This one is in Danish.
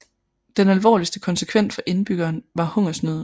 Den alvorligste konsekvens for indbyggerne var hungersnøden